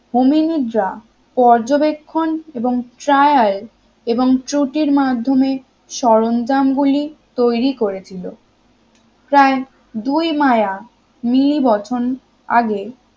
. পর্যবেক্ষণ এবং trial এবং ত্রূটির মাধ্যমে সরঞ্জাম গুলি তৈরি করেছিল প্রায় দুই মায়া নীল বচন আগে